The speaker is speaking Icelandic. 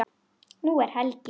Nú er helgi.